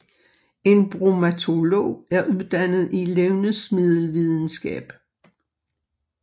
En bromatolog er uddannet i levnedsmiddelvidenskab